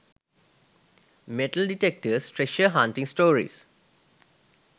metal detectors treasure hunting stories